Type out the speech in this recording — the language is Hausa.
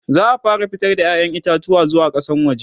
za'a fara fitar da ƴaƴan itatuwa zuwa kasan waje